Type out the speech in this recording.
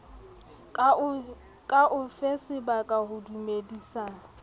ka o fasebaka ho dumedisa